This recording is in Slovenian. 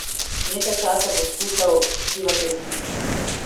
Nekaj časa bo skušal skrivati resnico.